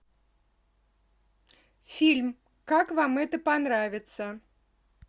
фильм как вам это понравится